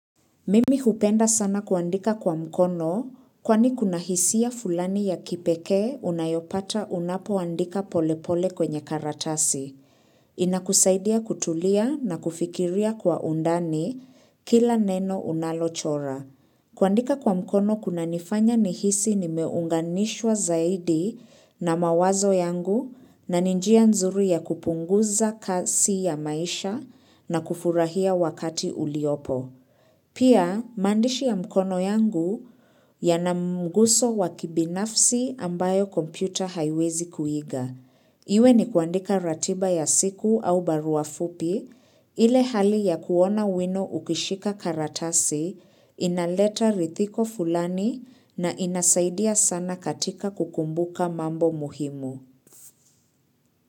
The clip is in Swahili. Mimi hupenda sana kuandika kwa mkono kwani kuna hisia fulani ya kipekee unayopata unapoandika polepole kwenye karatasi. Inakusaidia kutulia na kufikiria kwa undani kila neno unalochora. Kuandika kwa mkono kunanifanya nihisi ni meunganishwa zaidi na mawazo yangu na ni njia nzuri ya kupunguza kasi ya maisha na kufurahia wakati uliopo. Pia, maandishi ya mkono yangu yana mguso wa kibinafsi ambayo kompyuta haiwezi kuiga. Iwe ni kuandika ratiba ya siku au barua fupi, ile hali ya kuona wino ukishika karatasi, inaleta ridhiko fulani na inasaidia sana katika kukumbuka mambo muhimu.